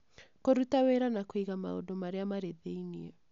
Kũruta wĩra wa kũiga maũndũ marĩa marĩ thĩinĩ